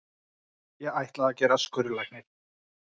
Ég ætlaði að gerast skurðlæknir.